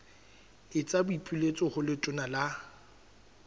etsa boipiletso ho letona la